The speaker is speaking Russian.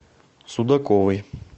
судаковой